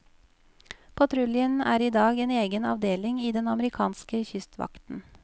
Patruljen er i dag en egen avdeling i den amerikanske kystvakten.